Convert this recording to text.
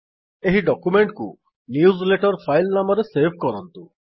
ଏହି ଡକ୍ୟୁମେଣ୍ଟ୍ କୁ newsletter file ନାମରେ ସେଭ୍ କରନ୍ତୁ